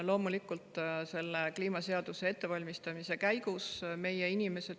Oleme kliimaseaduse ettevalmistamise käigus loomulikult selle tagasiside andnud.